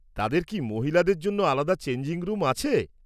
তাদের কি মহিলাদের জন্য আলাদা চেঞ্জিং রুম আছে?